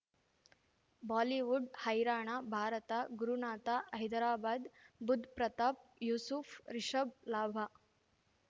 Bollywood ಹೈರಾಣ ಭಾರತ ಗುರುನಾಥ ಹೈದರಾಬಾದ್ ಬುಧ್ ಪ್ರತಾಪ್ ಯೂಸುಫ್ ರಿಷಬ್ ಲಾಭ